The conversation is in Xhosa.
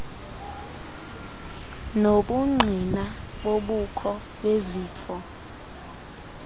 nobungqina bobukho bezifo